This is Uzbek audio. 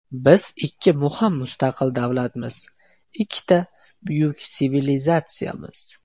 Biz ikki muhim mustaqil davlatmiz, ikkita buyuk sivilizatsiyamiz.